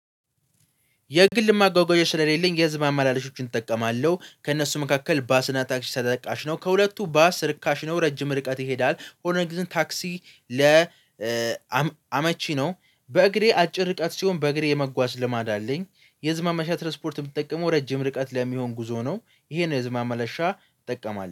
የግል ማጓጓዣ ስለሌለኝ የህዝብ ማመላሻዎችን እጠቀማለሁ ከእነሱ መካከል ባስና ታክሲ ተጠቃሽ ነው። ከሁለቱ ባስ ርካሽ ነው። ረጅም ርቀት ይሄዳል ሆነን ታክሲ ለ አመቺ ነው። በእግሬ አጭር ርቀት ሲሆን በእግሬ የመጓዝ ልማድ አለኝ። የህዝብ ማመላለሻ ትራንስፖርት የምትጠቀመው ረጅም ርቀት ለሚሆን ጉዞ ነው። ይሄን የህዝብ ማመላለሻ እጠቀማለሁ